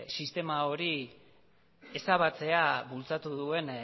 sistema hori ezabatzea bultzatu duen